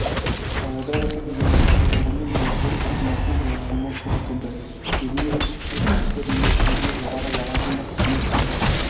таяуда осы генералдардың бірімен газет тапсырмасымен жолығуыма тура келді кезінде ішкі істер министрлігінде жоғары лауазымды қызмет